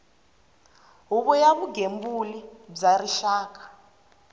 huvo ya vugembuli bya rixaka